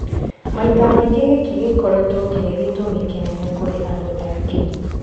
Maita maingĩ gĩkĩ gĩkoretwo kĩrĩ gĩtumi kĩnene kũrĩ andũ aingĩ